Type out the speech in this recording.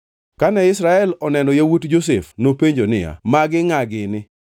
Kane Israel oneno yawuot Josef nopenjo niya, “Magi ngʼa gini?”